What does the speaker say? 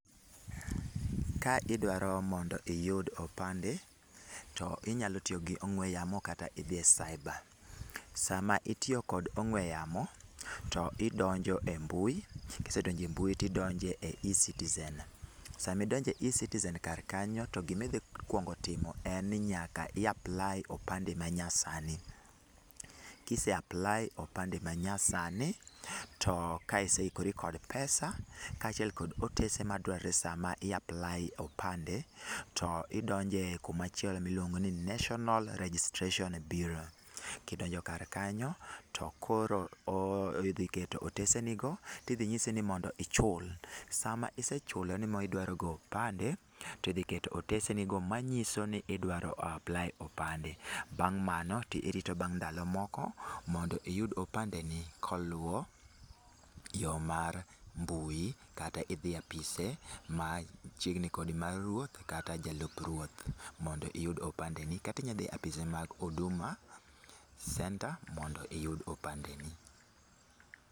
Ka idwaro mondo iyud opande, to inyalo tiyo gi ong'we yamo kata idhi e cyber. Sama itiyo kod ong'we yamo, to idonjo e mbui, kisedonjo e mbui to idonjo e Ecitizen. Sama idonjo e Ecitizen kar kanyo to gima idhi kuongo timo en ni nyaka i apply opande ma nyasani. Kise apply opande manyasani, to ka iseikori kod pesa, ka achiel kod otese ma dwarore sama i apply opande, to idonje kumachielo miluongo ni National Registration Bureau. Kidonjo kar kanyo, to koro idhi keto otese ni go, tidhi nyisi ni mondo ichul. Sama isechulo ni ma idwaro go opande, tidhi keto otese ni go manyiso ni idwaro apply opande. Bang' mano to irito bang' ndalo moko, mondo iyud opande ni koluo yo mar mbui. Kata idhi e apise machiegni kodi mar ruoth kata jalup ruoth mondo iyud opande ni. Kata inya dhi e apise mag Huduma Centre mondo iyud opande ni.